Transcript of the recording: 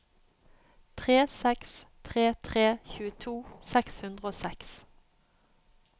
tre seks tre tre tjueto seks hundre og seks